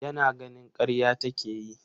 Yana ganin karya take yi.